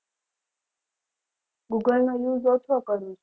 google નો use ઓછો કરિયો છે